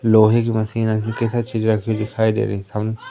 लोहे की मशीन उनके साथ चीज रखी हुई दिखाई दे रही है।